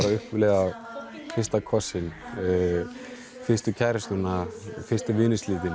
að upplifa fyrsta kossinn fyrstu kærustuna fyrstu